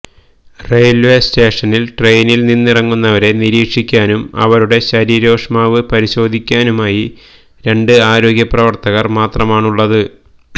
railway സ്റ്റേഷനില് ട്രെയിനില് നിന്നിറങ്ങുന്നവരെ നിരീക്ഷിക്കാനും ഇവരുടെ ശരീരോഷ്മാവ് പരിശോധിക്കാനുമായി രണ്ട് ആരോഗ്യ പ്രവര്ത്തകര് മാത്രമാണ് ഉള്ളത്